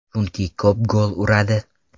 Chunki ko‘p gol uradi.